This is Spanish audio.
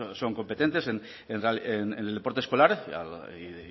son competentes en el deporte escolar y